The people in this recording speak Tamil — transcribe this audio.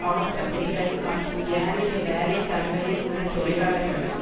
ஆஸ்பத்திரிகள் மற்றும் ஏனைய வேலை தளங்களில் உள்ள தொழிலாளர்களும்